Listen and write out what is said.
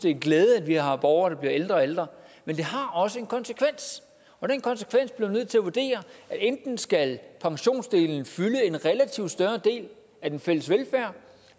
en glæde at vi har borgere der bliver ældre og ældre men det har også en konsekvens og den konsekvens bliver vi nødt til at vurdere enten skal pensionsdelen fylde en relativt større del af den fælles velfærd